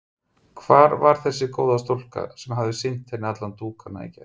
Hvar var þessi góða stúlka sem hafði sýnt henni alla dúkana í gær?